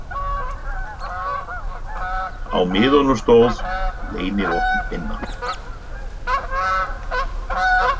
Á miðanum stóð: Leynivopn Binna.